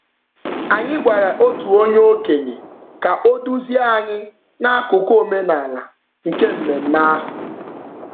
Anyị gwara otu okenye ka o duzie anyị n'akụkụ omenaala nke mmemme ahụ.